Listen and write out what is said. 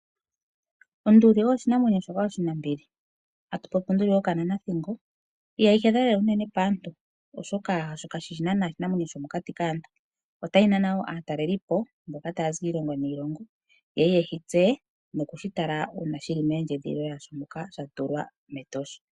Onduli oyo oshinanwenyo oshinambili atu popi onduli yokananathingo ihayi hedha nana paantu oshoka kayishi oshinanwenyo shopokati kaantu. Ohayi nana aatalelipo okuza kiilongo yilwe yiye yeyi tseye uuna shi li mondjedhililo yasho moka yili metosha.